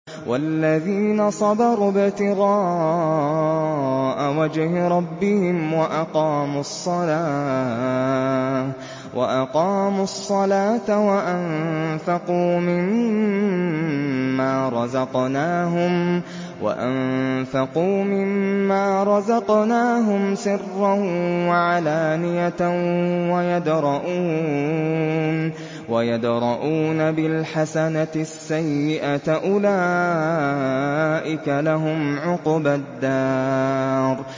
وَالَّذِينَ صَبَرُوا ابْتِغَاءَ وَجْهِ رَبِّهِمْ وَأَقَامُوا الصَّلَاةَ وَأَنفَقُوا مِمَّا رَزَقْنَاهُمْ سِرًّا وَعَلَانِيَةً وَيَدْرَءُونَ بِالْحَسَنَةِ السَّيِّئَةَ أُولَٰئِكَ لَهُمْ عُقْبَى الدَّارِ